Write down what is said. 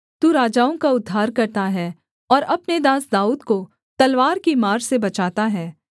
तू राजाओं का उद्धार करता है और अपने दास दाऊद को तलवार की मार से बचाता है